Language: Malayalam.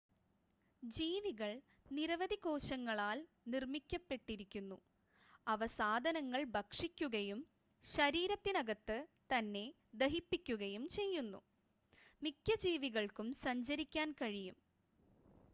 ജീവികൾ നിരവധി കോശങ്ങളാൽ നിർമ്മിക്കപ്പെട്ടിരിക്കുന്നു അവ സാധനങ്ങൾ ഭക്ഷിക്കുകയും ശരീരത്തിനകത്ത് തന്നെ ദഹിപ്പിക്കുകയും ചെയ്യുന്നു മിക്ക ജീവികൾക്കും സഞ്ചരിക്കാൻ കഴിയും